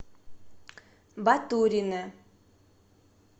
батурине